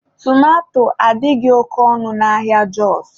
Tomato adịghị oke ọnụ n'ahịa Jọs